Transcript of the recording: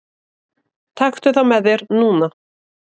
Taktu það með þér núna!